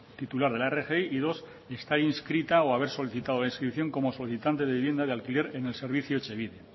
titular de la rgi y dos estar inscrita o haber solicitado la inscripción como solicitante de vivienda de alquiler en el servicio etxebide